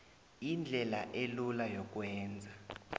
indlela elula yokwenza